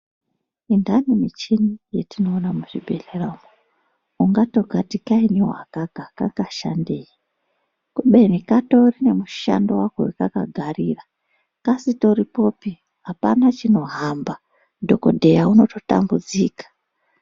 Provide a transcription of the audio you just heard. Muthani muchini yatinoona muzvibhehleya umo ungatokati kainyi aka ka kangashandei kubeni katori nemushando wako wakakagarira kasitoripopi hapana chinohamba dhokodheya unototambudzika.